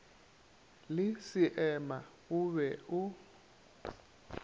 le seema o be o